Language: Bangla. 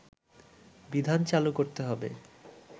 বিধান চালু করতে হবে